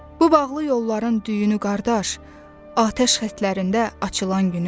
Bu bağlı yolların düyünü qardaş, atəş xətlərində açılan günü.